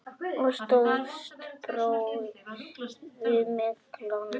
Og stóðst prófið með glans.